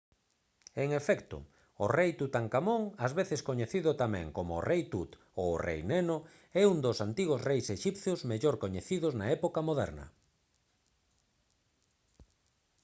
en efecto! o rei tutankamón ás veces coñecido tamén como o «rei tut» ou o «rei neno» é un dos antigos reis exipcios mellor coñecidos na época moderna